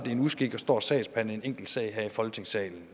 er en uskik at stå og sagsbehandle en enkelt sag her i folketingssalen